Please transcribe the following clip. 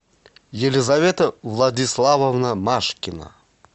елизавета владиславовна машкина